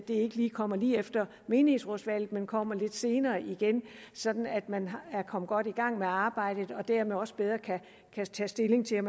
ikke kommer lige efter menighedsrådsvalget men kommer lidt senere sådan at man er kommet godt i gang med arbejdet og dermed også bedre kan tage stilling til